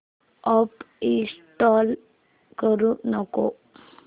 app install करू नको